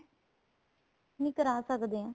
ਨਹੀਂ ਕਰਾ ਸਕਦੇ ਏ